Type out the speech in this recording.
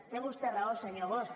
té vostè raó senyor bosch